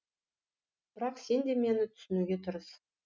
бірақ сен де мені түсінуге тырыс